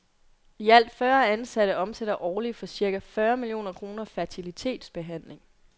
I alt fyrre ansatte omsætter årligt for cirka fyrre millioner kroner fertilitetsbehandling.